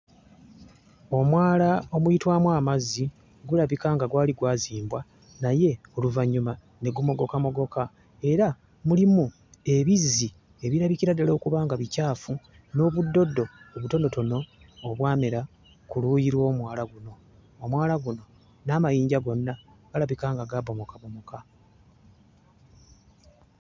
Omwala omuyitwamu amazzi gulabika nga gwali gwazimbwa naye oluvannyuma ne gumogokamogoka era mulimu ebizzi ebirabikira ddala okuba nga bicaafu n'obuddoddo obutonotono obwamera ku luuyi lw'omwala guno. Omwala guno n'amayinja gonna galabika nga gaabomokabomoka.